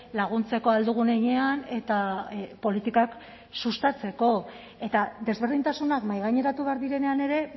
laguntzeko ahal dugun heinean eta politikak sustatzeko eta desberdintasunak mahaigaineratu behar direnean ere